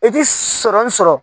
I ti sɔrɔ min sɔrɔ